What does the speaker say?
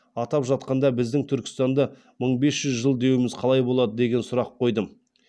атап жатқанда біздің түркістанды мың бес жүз жыл деуіміз қалай болады деген сұрақ қойдым